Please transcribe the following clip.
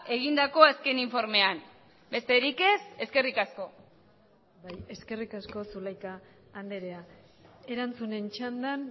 egindako azken informean besterik ez eskerrik asko eskerrik asko zulaika andrea erantzunen txandan